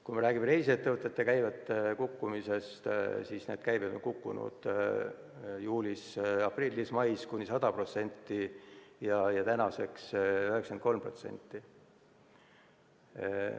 Kui räägime reisiettevõtete käibe kukkumisest, siis nende käive on kukkunud juulis, aprillis ja mais kuni 100% ja tänaseks 93%.